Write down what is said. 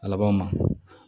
A labanw ma